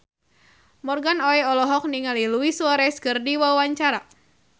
Morgan Oey olohok ningali Luis Suarez keur diwawancara